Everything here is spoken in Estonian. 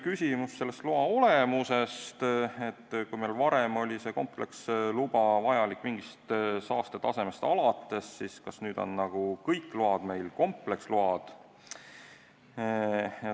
Küsimus oli selle loa olemuse kohta, et kui varem oli kompleksluba vajalik mingist saastetasemest alates, siis kas nüüd on kõik load kompleksload.